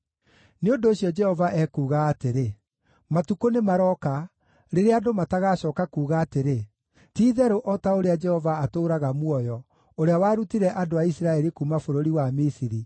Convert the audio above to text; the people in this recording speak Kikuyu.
Nĩ ũndũ ũcio Jehova ekuuga atĩrĩ: “Matukũ nĩmarooka, rĩrĩa andũ matagacooka kuuga atĩrĩ, ‘Ti-itherũ o ta ũrĩa Jehova atũũraga muoyo, ũrĩa warutire andũ a Isiraeli kuuma bũrũri wa Misiri,’